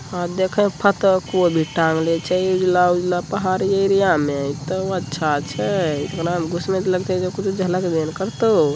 देखे फत कोई भी टागले छ य एक लाल पहाड़ी एरिया में तो अच्छा छे घना य गुसने के खुच जालक लें करतो।